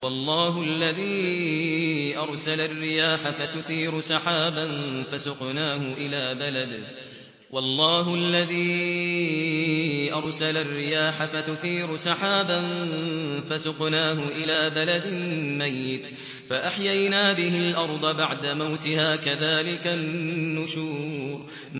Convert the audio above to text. وَاللَّهُ الَّذِي أَرْسَلَ الرِّيَاحَ فَتُثِيرُ سَحَابًا فَسُقْنَاهُ إِلَىٰ بَلَدٍ مَّيِّتٍ فَأَحْيَيْنَا بِهِ الْأَرْضَ بَعْدَ مَوْتِهَا ۚ كَذَٰلِكَ النُّشُورُ